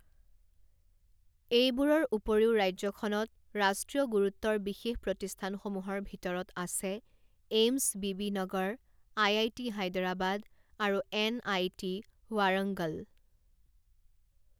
এইবোৰৰ উপৰিও ৰাজ্যখনত ৰাষ্ট্ৰীয় গুৰুত্বৰ বিশেষ প্ৰতিষ্ঠানসমূহৰ ভিতৰত আছে এইমছ বিবিনগৰ, আই.আই.টি. হায়দৰাবাদ আৰু এন.আই.টি. ৱাৰংগল।